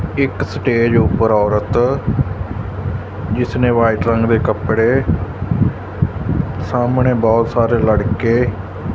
ਇੱਕ ਸਟੇਜ ਉਪਰ ਔਰਤ ਜਿਸਨੇ ਵਾਈਟ ਰੰਗ ਦੇ ਕੱਪੜੇ ਸਾਹਮਣੇ ਬਹੁਤ ਸਾਰੇ ਲੜਕੇ --